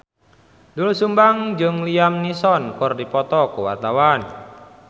Doel Sumbang jeung Liam Neeson keur dipoto ku wartawan